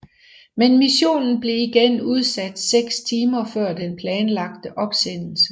Men missionen blev igen udsat 6 timer før den planlagte opsendelse